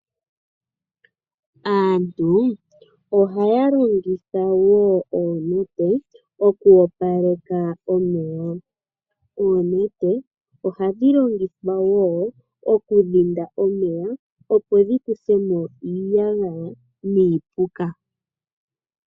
Aantu ohaya longitha oonete oku opaleka omeya. Oonete ohadhi longithwa wo okudhinda omeya, opo dhikuthemo iiyagaya, noshowo iipuka.